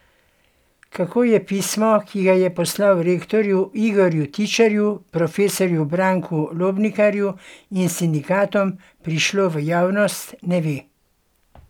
Kako je pismo, ki ga je poslal rektorju Igorju Tičarju, profesorju Branku Lobnikarju in sindikatom, prišlo v javnost, ne ve.